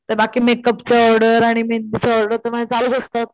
तर बाकी makeup order आणि मेहेंदीच ऑर्डर तर माझे चालूच असतात.